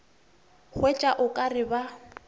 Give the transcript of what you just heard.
hwetša o ka re ba